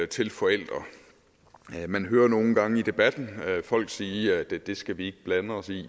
til forældre man hører nogle gange i debatten folk sige at det det skal vi ikke blande os i